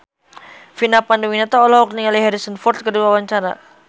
Vina Panduwinata olohok ningali Harrison Ford keur diwawancara